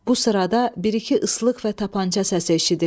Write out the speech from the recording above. Bu sırada bir-iki ıslıq və tapança səsi eşidilir.